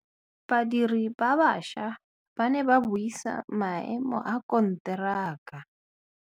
Badiri ba baša ba ne ba buisa maêmô a konteraka.